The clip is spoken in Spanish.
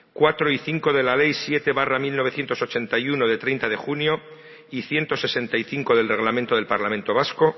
cuatro y cinco de la ley siete barra mil novecientos ochenta y uno de treinta de junio y ciento sesenta y cinco del reglamento del parlamento vasco